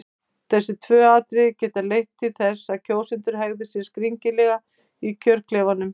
Þessi tvö atriði geta leitt til þess að kjósendur hegði sér skringilega í kjörklefanum.